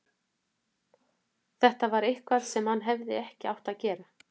Þetta var eitthvað sem hann hefði ekki átt að gera.